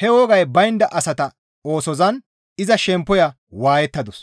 he wogay baynda asata oosozan iza shemppoya waayettadus.